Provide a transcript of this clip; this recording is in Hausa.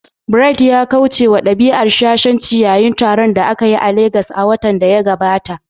Bright ya kauce wa dabi'ar shashanci yayin taron da aka yi a Legas a watan da ya gabata.